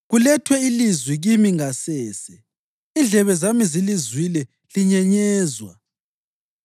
Kulethwe ilizwi kimi ngasese, indlebe zami zilizwile linyenyezwa.